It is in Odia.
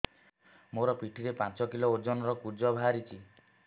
ମୋ ପିଠି ରେ ପାଞ୍ଚ କିଲୋ ଓଜନ ର କୁଜ ବାହାରିଛି